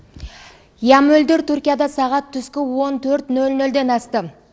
иә мөлдір түркияда сағат түскі он төрт нөл нөлден асты